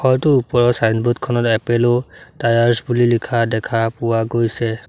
ঘৰটোৰ ওপৰৰ ছাইনবোৰ্ড খনত এপ'ল' টায়াৰ্ছ বুলি লিখা দেখা পোৱা গৈছে।